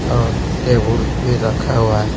और टेबल भी रखा हुआ है।